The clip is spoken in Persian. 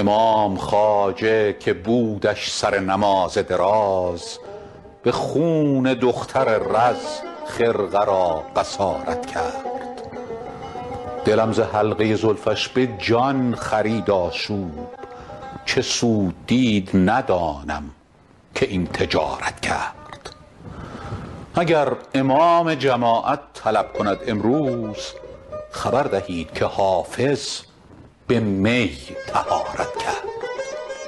امام خواجه که بودش سر نماز دراز به خون دختر رز خرقه را قصارت کرد دلم ز حلقه زلفش به جان خرید آشوب چه سود دید ندانم که این تجارت کرد اگر امام جماعت طلب کند امروز خبر دهید که حافظ به می طهارت کرد